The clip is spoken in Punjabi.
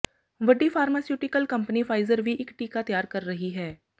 ਵੱਡੀ ਫਾਰਮਾਸਿਉਟੀਕਲ ਕੰਪਨੀ ਫਾਈਜ਼ਰ ਵੀ ਇੱਕ ਟੀਕਾ ਤਿਆਰ ਕਰ ਰਹੀ ਹੈ